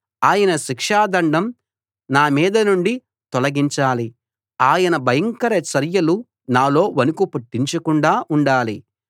ఆయన శిక్షాదండం నా మీద నుండి తొలగించాలి ఆయన భయంకర చర్యలు నాలో వణుకు పుట్టించకుండా ఉండాలి